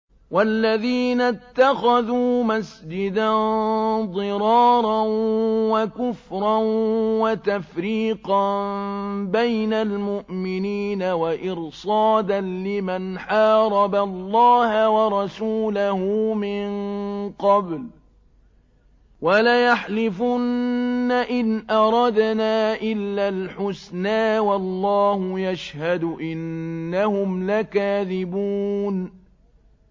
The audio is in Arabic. وَالَّذِينَ اتَّخَذُوا مَسْجِدًا ضِرَارًا وَكُفْرًا وَتَفْرِيقًا بَيْنَ الْمُؤْمِنِينَ وَإِرْصَادًا لِّمَنْ حَارَبَ اللَّهَ وَرَسُولَهُ مِن قَبْلُ ۚ وَلَيَحْلِفُنَّ إِنْ أَرَدْنَا إِلَّا الْحُسْنَىٰ ۖ وَاللَّهُ يَشْهَدُ إِنَّهُمْ لَكَاذِبُونَ